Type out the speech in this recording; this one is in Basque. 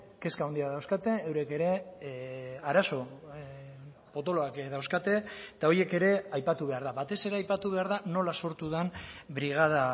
kezka handia dauzkate eurek ere arazo potoloak dauzkate eta horiek ere aipatu behar da batez ere aipatu behar da nola sortu den brigada